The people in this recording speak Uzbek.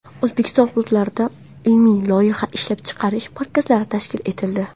O‘zbekiston hududlarida ilmiy-loyiha ishlab chiqarish markazlari tashkil etildi.